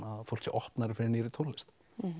fólk sé opnara fyrir nýrri tónlist